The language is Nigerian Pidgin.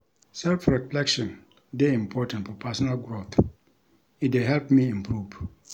Self-reflection dey important for personal growth; e dey help me improve.